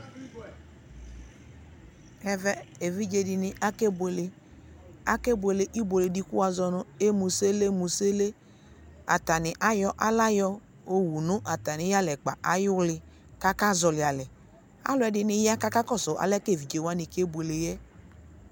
ɛvɛ evidze dene akeboele akeboele iboele de ko woazɔ mo imusele musele atane ayɔ ala yowu nu atame yalɛkpa ayo li ko aka zɔli alɛ alo dene ya ko akakɔso alɛ ko evidze wane keboele yɛ